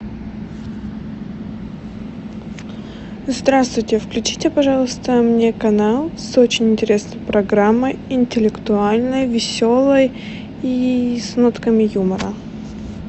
здравствуйте включите пожалуйста мне канал с очень интересной программой интеллектуальной веселой и с нотками юмора